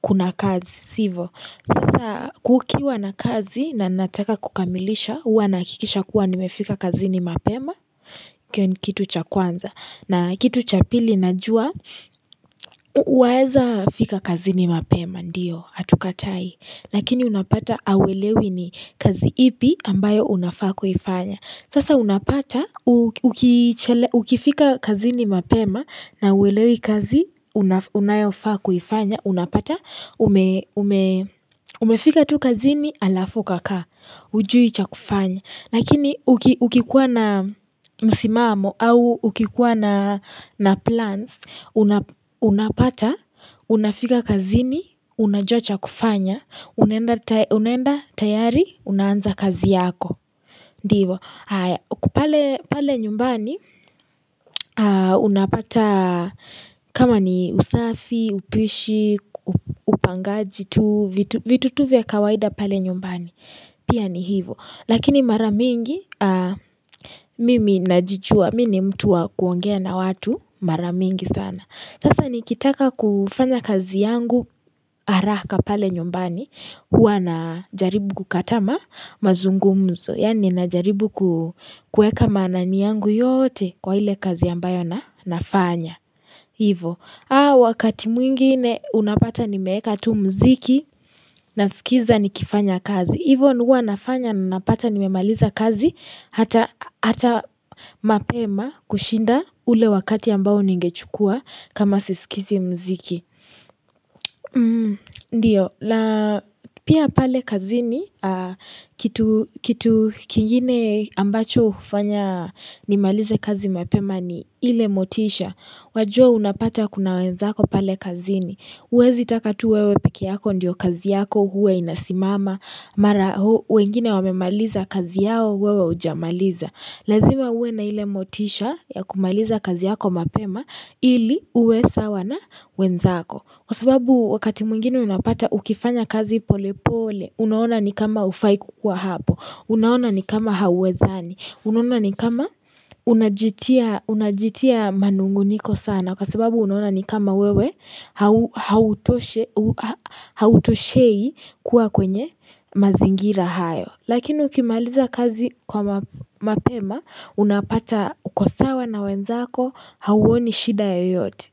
kuna kazi sivo Sasa kukiwa na kazi na nataka kukamilisha Uwa nakikisha kuwa nimefika kazini mapema kitu cha kwanza na kitu cha pili najua uweza fika kazini mapema ndiyo, hatukatai Lakini unapata hauwelewi ni kazi ipi ambayo unafako ifanya Sasa unapata, ukifika kazini mapema na uwelewi kazi, unayofa kufanya, unapata, umefika tu kazini alaf ukakaa, ujui cha kufanya. Nakini ukikuwa na msimamo au ukikuwa na plans, unapata, unafika kazini, unajua cha kufanya, unenda tayari, unaanza kazi yako. Ndivo. Kupale nyumbani unapata kama ni usafi, upishi, upangaji, vitu tuvia kawaida pale nyumbani. Pia ni hivo. Lakini mara mingi mimi najichua mimi mtu wa kuongea na watu mara mingi sana. Sasa nikitaka kufanya kazi yangu arahaka pale nyombani hua na jaribu kukatama mazungumzo. Yaani na jaribu kuweka manani yangu yote kwa hile kazi ambayo na nafanya. Hivo, wakati mwingine unapata nimeeka tu mziki na sikiza nikifanya kazi. Hivo hua nafanya na napata nimemaliza kazi hata mapema kushinda ule wakati ambao ningechukua kama sisikizi mziki. Ndiyo, la pia pale kazini kitu kingine ambacho ufanya nimalize kazi mapema ni ile motisha. Wajua unapata kuna wenzako pale kazini. Huwezi takatu wewe piki yako ndiyo kazi yako, uwe inasimama, mara wengine wame maliza kazi yao, uwe ujamaliza. Lazima uwe na ile motisha ya kumaliza kazi yako mapema ili uwe sawa na wenzako. Kwa sababu wakati mwingini unapata ukifanya kazi pole pole, unaona ni kama ufaikuwa hapo, unaona ni kama hawezaani, Unuona ni kama unajitia manunguniko sana kwa sababu unuona ni kama wewe hautoshei kuwa kwenye mazingira hayo Lakini ukimaliza kazi kwa mapema unapata ukosawa na wenzako hauoni shida ya yote.